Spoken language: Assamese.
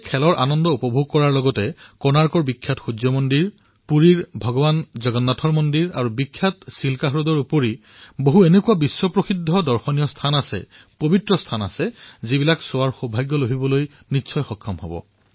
খেলৰ আনন্দৰ সৈতে কোণাৰ্কৰ সূৰ্য মন্দিৰ পুৰীৰ ভগবান জগন্নাথৰ মন্দিৰ আৰু চিল্কা হ্ৰদৰ সৈতে বিশ্বপ্ৰসিদ্ধ দৰ্শনীয় আৰু পবিত্ৰ স্থানসমূহ নিশ্চয় দৰ্শন কৰিব